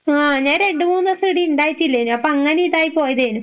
ആഹ് ഞാൻ രണ്ടുമൂന്നോസം ഇവിടെ ഇണ്ടായിട്ടില്ലേനു അപ്പൊ അങ്ങനെ ഇതായി പോയതേനു.